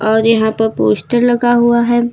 और यहां पे पोस्टर लगा हुआ है।